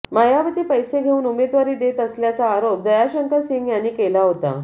मायावती पैसे घेऊन उमेदवारी देत असल्याचा आरोप दयाशंकर सिंह यांनी केला होता